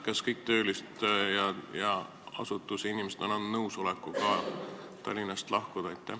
Kas kõik asutuses töötavad inimesed on andnud nõusoleku Tallinnast lahkuda?